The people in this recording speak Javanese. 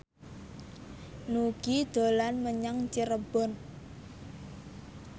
Nugie dolan menyang Cirebon